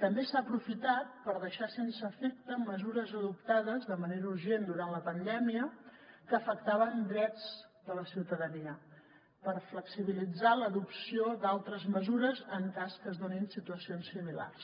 també s’ha aprofitat per deixar sense efecte mesures adoptades de manera urgent durant la pandèmia que afectaven drets de la ciutadania per flexibilitzar l’adopció d’altres mesures en cas que es donin situacions similars